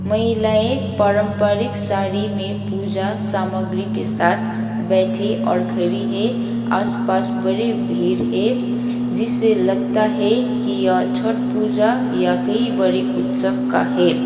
महिलाएं पारंपरिक साड़ी में पूजा सामग्री के साथ बैठी और खरि है आसपास बड़ी भीर है जिससे लगता है कि यह छठ पूजा या कई बड़ी उत्सव का है।